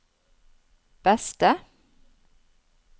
beste